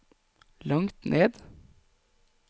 langt ned